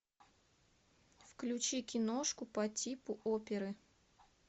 включи киношку по типу оперы